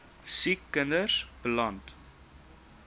siek kinders beland